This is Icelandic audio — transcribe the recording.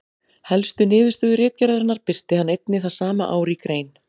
Helstu niðurstöðu ritgerðarinnar birti hann einnig það sama ár í grein.